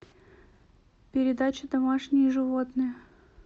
передача домашние животные